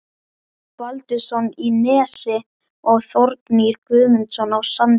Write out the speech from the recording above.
Baldvinsson í Nesi og Þórgnýr Guðmundsson á Sandi.